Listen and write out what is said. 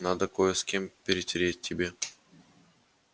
надо кое с кем перетереть тебе